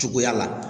Cogoya la